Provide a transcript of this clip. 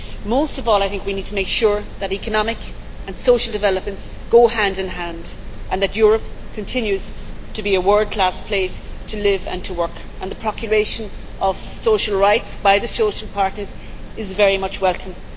Most of all, I think we need to make sure that economic and social developments go hand in hand and that Europe continues to be a world class place to live and to work. The proclamation of social rights by the social partners is very much welcome.